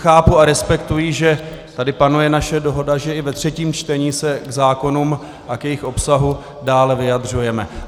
Chápu a respektuji, že tady panuje naše dohoda, že i ve třetím čtení se k zákonům a k jejich obsahu dále vyjadřujeme.